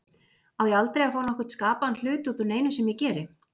Á ég aldrei að fá nokkurn skapaðan hlut út úr neinu sem ég geri?